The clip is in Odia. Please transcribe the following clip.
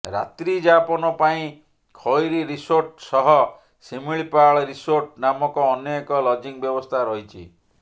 ରାତ୍ରୀ ଯାପନ ପାଇଁ ଖଇରୀ ରିସୋର୍ଟ ସହ ଶିମିଳିପାଳ ରିସୋର୍ଟ ନାମକ ଅନ୍ୟ ଏକ ଲଜିଂ ବ୍ୟବସ୍ଥା ରହିଛି